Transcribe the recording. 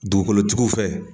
Dugukolotigiw fɛ